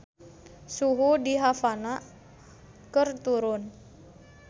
Suhu di Havana keur turun